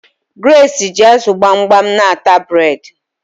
Grace ji azu gbamgbam n'ata bred